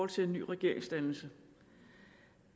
til en ny regeringsdannelse